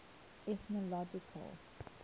ethnological